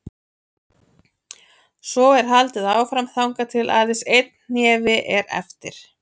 Svo er haldið áfram þangað til aðeins einn hnefi er eftir.